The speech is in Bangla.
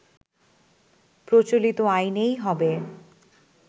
প্রচলিত আইনেই হবে